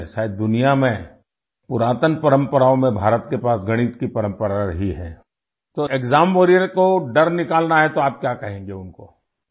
شاید دنیا میں قدیم روایات میں بھارت کے پاس ریاضی کی روایت رہی ہے، تو ایگزام واریر کو ڈر نکالنا ہے تو آپ کیا کہیں گے ان کو؟